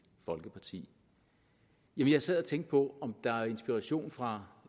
folkeparti jeg sad og tænkte på om det er inspiration fra